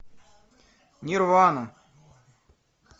нирвана